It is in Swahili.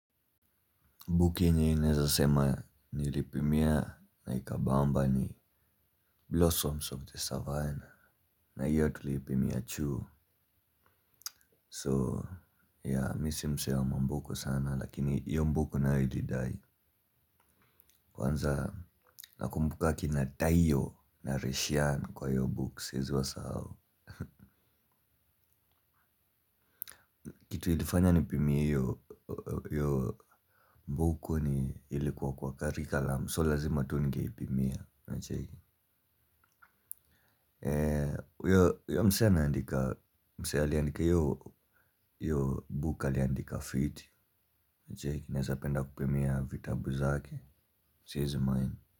Mbuki yenye ninaweza sema nilipimia na ikabamba ni Blossoms of the Savannah. Na hiyo tulipimia chuo So mimi si msee wa mabook sana lakini iyo book nayo ilidai. Kwanza nakumbuka kina taiyo na resian kwa hiyo book siwezi wasahau. Kitu ilifanya nipimie hiyo book ni ilikuwa kwa curriculum so lazima tu ningeipimia unacheki. Uyo msee aliandika iyo book aliandika fiti. Je ninaweza penda kupimia vitabu zake si wezi mind.